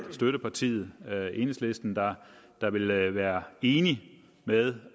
støttepartiet enhedslisten der der ville være enige med